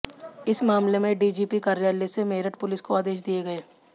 इस मामले में डीजीपी कार्यालय से मेरठ पुलिस को आदेश दिए गए